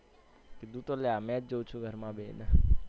કીધું તું લ્યા match જોઉં છુ ઘર માં બેહિને